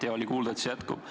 Hea oli kuulda, et jätkub.